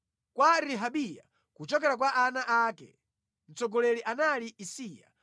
Kwa Rehabiya, kuchokera kwa ana ake: Mtsogoleri anali Isiya.